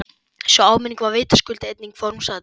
Sú áminning var vitaskuld einungis formsatriði!